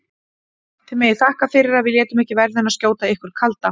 Þið megið þakka fyrir að við létum ekki verðina skjóta ykkur kalda!